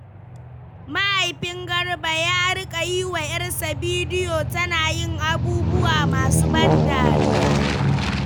Mahaifin Garba ya riƙa yi wa ‘yarsa bidiyo tana yin abubuwa masu ban dariya.